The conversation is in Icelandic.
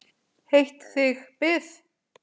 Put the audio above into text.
Heitt þig bið!